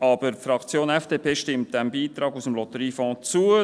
Aber die Fraktion FDP stimmt diesem Beitrag aus dem Lotteriefonds zu.